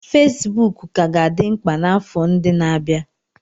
Fesibuku ka ga-adị mkpa n'afọ ndị na-abịa.